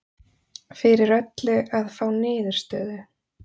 Fyrir öllu að fá niðurstöðu